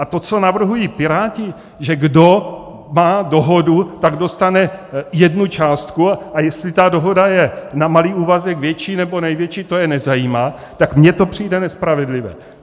A to, co navrhují Piráti, že kdo má dohodu, tak dostane jednu částku, a jestli ta dohoda je na malý úvazek, větší, nebo největší, to je nezajímá, tak mně to přijde nespravedlivé.